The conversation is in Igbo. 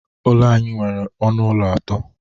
Ụlọ anyị nwere ọnụ ụlọ atọ.